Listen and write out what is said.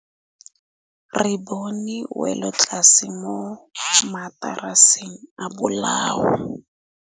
Re bone wêlôtlasê mo mataraseng a bolaô.